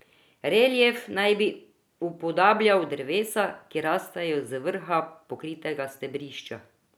Relief naj bi upodabljal drevesa, ki rastejo z vrha pokritega stebrišča.